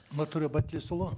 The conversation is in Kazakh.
нұртөре байтілесұлы